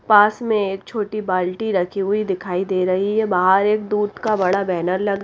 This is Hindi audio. पास में एक छोटी बाल्टी रखी हुई दिखाई दे रही है बाहर एक दूध का बड़ा बैनर लग--